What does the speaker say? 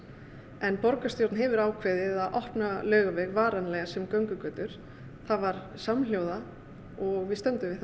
en borgarstjórn hefur ákveðið að opna Laugaveg varanlega sem göngugötur það var samhljóða og við stöndum við